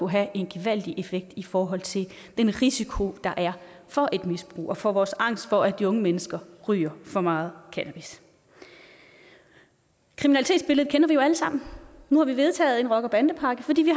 have en gevaldig effekt i forhold til den risiko der er for et misbrug og for vores angst for at de unge mennesker ryger for meget cannabis kriminalitetsbilledet kender vi jo alle sammen nu har vi vedtaget en rocker bande pakke fordi vi